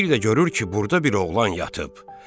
Bir də görür ki, burda bir oğlan yatıb.